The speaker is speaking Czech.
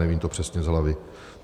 Nevím to přesně z hlavy.